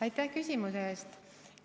Aitäh küsimuse eest!